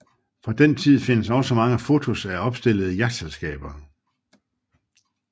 Fra den tid findes også mange fotos af opstillede jagtselskaber